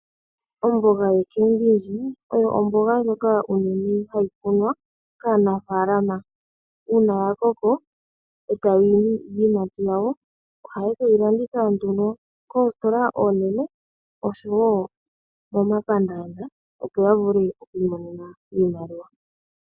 Omboga yocambindji oyo omboga ndjoka unene hayi kunwa kanafaalama uuna ya koko eta yi imi iiyimati yawo ohaye ke yi landitha koositola oonene oshowo momapaandanda opo ya vule okwiinonena oshimaliwa.